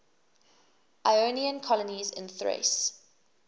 ionian colonies in thrace